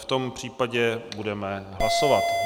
V tom případě budeme hlasovat.